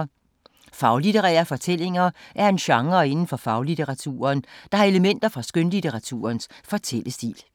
Faglitterære fortællinger er en genre inden for faglitteraturen, der har elementer fra skønlitteraturens fortællestil.